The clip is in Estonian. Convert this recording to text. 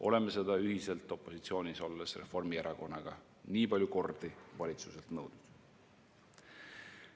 Oleme seda ühiselt opositsioonis olles Reformierakonnaga nii palju kordi valitsuselt nõudnud.